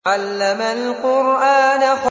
عَلَّمَ الْقُرْآنَ